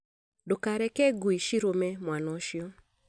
Ndũkareke ngui cirũme mwana ũcio